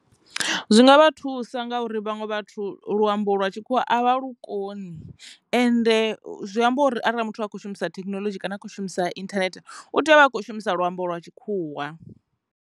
Zwi nga vha thusa ngauri vhaṅwe vhathu luambo lwa tshikhuwa avha lu koni ende zwi amba uri arali muthu a khou shumisa thekinoḽodzhi kana a kho shumisa internet u tea uvha a kho shumisa luambo lwa tshikhuwa.